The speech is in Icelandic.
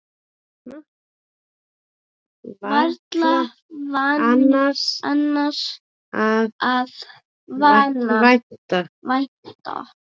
Varla annars að vænta.